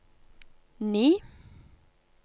ni